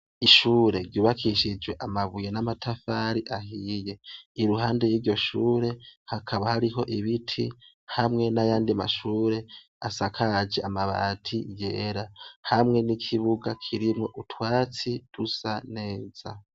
Ishure ryubakishije amabuye n'amatafari ahiye, i ruhande y'iryo shure hakaba hariho ibiti hamwe n'ayandi mashure asakaje amabati yera, hamwe n'ikibuga kirimwo utwatsi dusa neza.